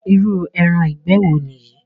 Irú ẹran ìgbẹ́ wo nìyí?